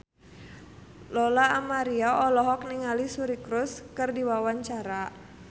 Lola Amaria olohok ningali Suri Cruise keur diwawancara